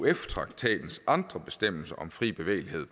euf traktatens andre bestemmelser om fri bevægelighed